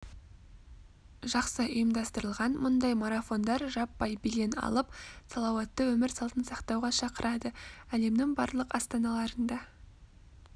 жақсы ұйымдастырылған мұндай марафондар жаппай белең алып салауатты өмір салтын сақтауға шақырады әлемнің барлық астаналарында